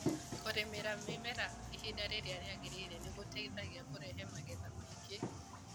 Kũrĩmĩra mĩmera ihinda rĩrĩa rĩagĩrĩire nĩ gũteithagia kurehe magetha maingĩ